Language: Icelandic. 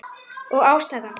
Og ástæðan?